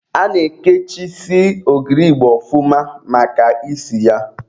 A na-ekechisi ogiri igbo ọfụma maka isi ya.